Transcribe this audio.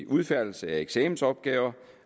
udfærdigelse af eksamensopgaver